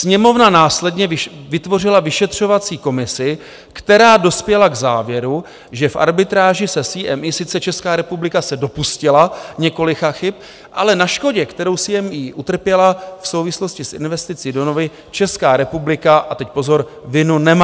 Sněmovna následně vytvořila vyšetřovací komisi, která dospěla k závěru, že v arbitráži s CME sice Česká republika se dopustila několika chyb, ale na škodě, kterou CME utrpěla v souvislosti s investicí do Novy, Česká republika - a teď pozor - vinu nemá.